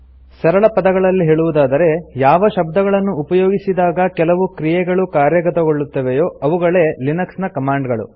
ಸರಳ ಪದಗಳಲ್ಲಿ ಹೇಳುವುದಾದರೆ ಯಾವ ಶಬ್ದಗಳನ್ನು ಉಪಯೋಗಿಸಿದಾಗ ಕೆಲವು ಕ್ರಿಯೆಗಳು ಕಾರ್ಯಗತಗೊಳ್ಳುತ್ತವೆಯೋ ಅವುಗಳೇ ಲಿನೆಕ್ಸ್ ನ ಕಮಾಂಡ್ ಗಳು